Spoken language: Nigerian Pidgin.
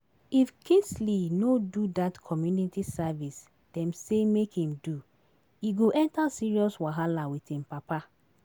If Kingsley no do dat community service dem say make im do, e go enter serious wahala with im papa